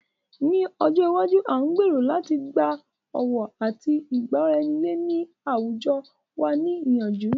Ní ọjọ iwájú, a ń gbèrò láti gba ọ̀wọ̀ àti ìgbọ́raeniyé ní àwùjọ wa ní ìyànjú.